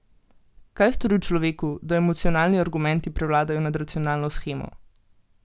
Kaj stori v človeku, da emocionalni argumenti prevladajo nad racionalno shemo?